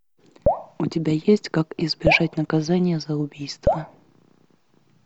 у тебя есть как избежать наказания за убийство